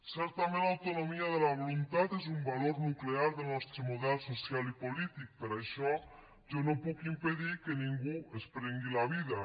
certament l’autonomia de la voluntat és un valor nuclear del nostre model social i polític per això jo no puc impedir que ningú es prengui la vida